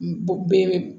Bɔ be